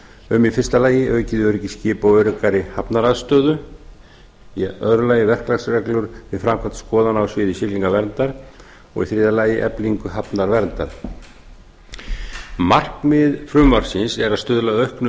um í fyrsta lagi aukið öryggi skipa og öruggari hafnaraðstöðu í öðru lagi verklagsreglur við framkvæmd skoðana á sviði siglingaverndar og í þriðja lagi eflingu hafnarverndar markmið frumvarpsins er að stuðla að auknu